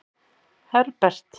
Herbert